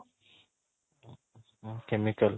chemical